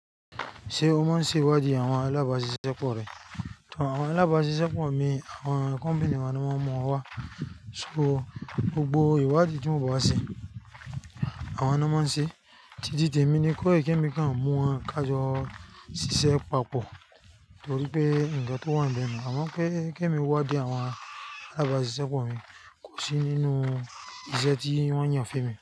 Ṣé o máa ń ṣe ìwádìí àwọn alágbàsékọ rẹ? Tan, àwọn alágbàsékọ mi, àwọn kọ̀mpénì ni wọ́n máa ń mọ wa. So gbogbo ìwádìí tí mò ń bá ṣe, àwọn náà máa ń ṣe. Títí di èmi ni kó èké mi kan mú wọn ká jọ ṣiṣẹ́ papọ̀ nítorí pé ǹkan tó wà níbẹ̀ ni àwọn pé èké mi wádìí àwọn alágbàsékọ mi kò sí nínú iṣẹ́ tí wọ́n yàn fún mi.